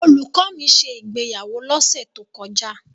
Olùkọ́ mi ṣe ìgbéyàwó lọ́sẹ̀ tó kọjá.